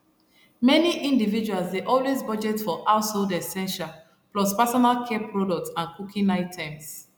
many individuals dey always budget for household essentials plus personal care products and cooking items